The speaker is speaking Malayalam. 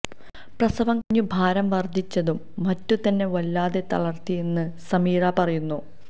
പ്രസവം കഴിഞ്ഞു ഭാരം വര്ധിച്ചതും മറ്റും തന്നെ വല്ലാതെ തളര്ത്തിയെന്ന് സമീറ പറയുന്നു